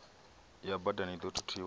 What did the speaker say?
ya badani i ḓo thuthiwa